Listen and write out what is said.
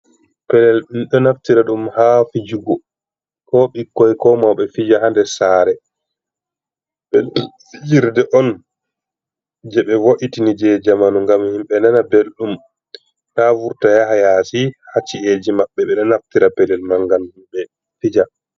Pelel ɗum ɗo naftira ɗum ha fijugo, ko ɓikkoi ko mauɓe fija hader sare, fijirde on je ɓe vo’itini je zamanu ngam himɓe nana ɓelɗum ta vurta yaha yasi hacci’eji maɓɓe ɓeɗo naftira pelel man ngam himɓe fija.